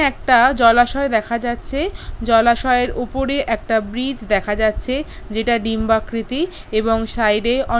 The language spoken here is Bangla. একটা জলাশয় দেখা যাচ্ছে। জলাশয়ের উপরে একটা ব্রিজ দেখা যাচ্ছে। যেটা ডিম্বাকৃতি এবং সাইডে অন--